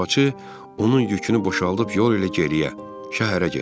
Arabçı onun yükünü boşaldıb yol ilə geriyə şəhərə getdi.